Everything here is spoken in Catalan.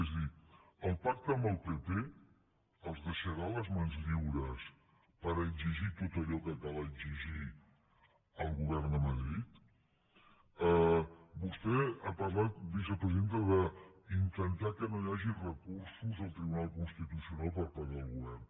és a dir el pacte amb el pp els deixarà les mans lliures per exigir tot allò que cal exigir al govern de madrid vostè ha parlat vicepresidenta d’intentar que no hi hagi recursos al tribunal constitucional per part del govern